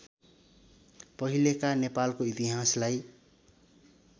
पहिलेका नेपालको इतिहासलाई